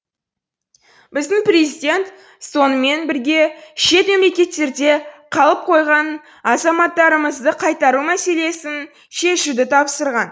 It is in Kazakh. біздің президент сонымен бірге шет мемлекеттерде қалып қойған азаматтарымызды қайтару мәселесін шешуді тапсырған